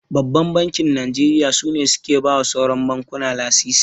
Babban Bankin Najeriya su ne suke bawa sauran bankuna lasisi.